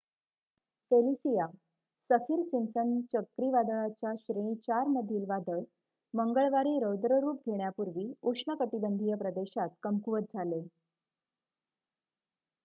Felicia Saffir Simpson चक्रीवादळाच्या श्रेणी 4 मधील वादळ मंगळवारी रौद्ररूप घेण्यापूर्वी उष्णकटिबंधीय प्रदेशात कमकुवत झाले